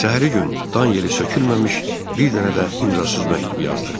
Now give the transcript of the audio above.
Səhərə gün dan yeri sökülməmiş, bir dənə də imzasız məktub yazdıq.